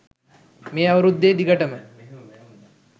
මේ අවුරුද්දේ දිගටම